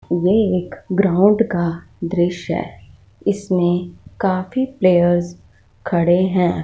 ये एक ग्राउंड का दृश्य हैं। इसमें काफी प्लेयर्स खड़े हैं।